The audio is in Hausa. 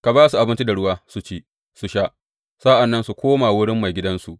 Ka ba su abinci da ruwa su ci, su sha, sa’an nan su koma wurin maigidansu.